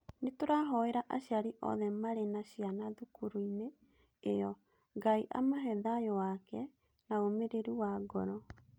Nĩ tũrahooera aciari othe marĩ na ciana cukuru-inĩ ĩyo. Ngai amahe thaayũ wake na ũmĩrĩru wa ngoro.